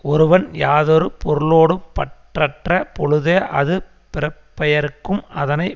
ஒருவன் யாதொரு பொருளோடும் பற்றற்ற பொழுதே அது பிறப்பையறுக்கும் அதனை